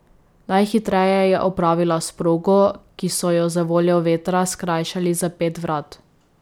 Najhitreje je opravila s progo, ki so jo zavoljo vetra skrajšali za pet vrat.